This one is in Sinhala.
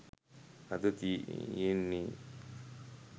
අද තියෙන්නේ